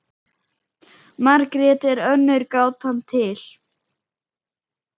Margrét er önnur gátan til.